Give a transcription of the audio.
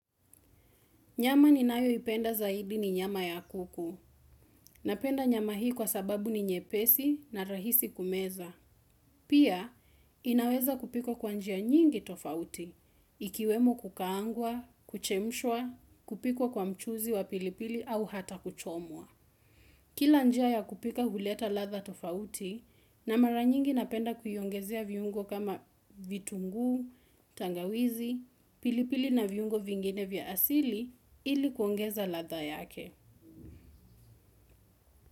Nyama ni nayoipenda zaidi ni nyama ya kuku. Napenda nyama hii kwa sababu ni nyepesi na rahisi kumeza. Pia, inaweza kupikwa kwa njia nyingi tofauti. Ikiwemo kukaangwa, kuchemshwa, kupikwa kwa mchuzi wa pilipili au hata kuchomwa. Kila njia ya kupika huleta ladha tofauti, na mara nyingi napenda kuiongezia viungo kama vitungu, tangawizi, pili pili na vyungo vingine vya asili ili kuongeza ladha yake.